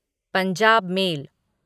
Punjab mail